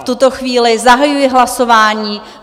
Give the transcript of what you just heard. V tuto chvíli zahajuji hlasování.